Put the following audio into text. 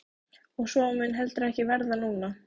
Og svo mun heldur ekki verða núna!